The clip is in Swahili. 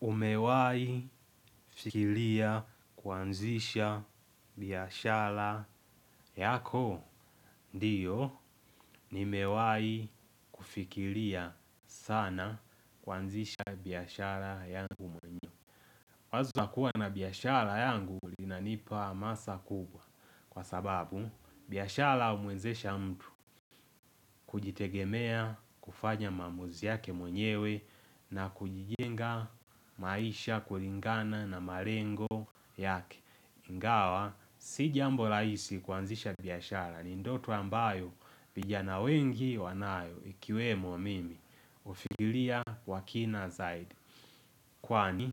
Umewahifikiria kuanzisha biashara yako Ndio, nimewahifikiria sana kuanzisha biashara yangu mwenyewe Wazo la kuwa na biashara yangu, linanipa hamasa kubwa Kwa sababu, biashara uhumwewezesha mtu kujitegemea, kufanya maamuzi yake mwenyewe na kujijenga maisha kulingana na malengo yake Ingawa, si jambo rahisi kuanzisha biashara ni ndoto ambayo vijana wengi wanayo Ikiwemo mimi, nafikiria kwa kina zaidi Kwani,